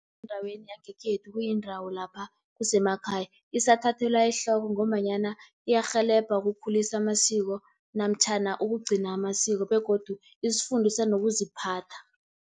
Endaweni yangekhethu kuyindawo lapha kusemakhaya, isathathelwa ehloko ngombanyana iyarhelebha ukukhulisa amasiko namtjhana ukugcina amasiko begodu isifundisa nokuziphatha.